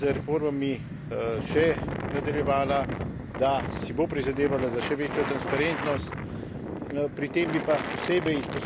Prepričan sem seveda, da bo Srbija z reformami še nadaljevala, da si bo prizadevala za še večjo transparentnost.